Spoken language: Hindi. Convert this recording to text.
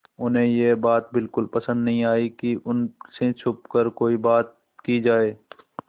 उन्हें यह बात बिल्कुल पसन्द न आई कि उन से छुपकर कोई बात की जाए